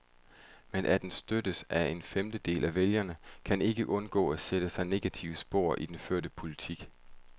Men at den støttes af en femtedel af vælgerne, kan ikke undgå at sætte sig negative spor i den førte politik.